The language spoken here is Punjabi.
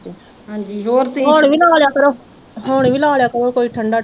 ਹੁਣ ਵੀ ਲਾ ਲਿਆ ਕਰੋ, ਹੁਣ ਵੀ ਲਾ ਲਿਆ ਕਰੋ ਕੁਝ ਠੰਡਾ